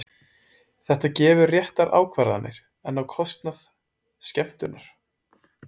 Þetta gefur réttar ákvarðanir, en á kostnað. skemmtunar?